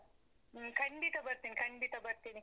ಹ್ಮ್ ಖಂಡಿತ ಬರ್ತೀನಿ, ಖಂಡಿತ ಬರ್ತೀನಿ.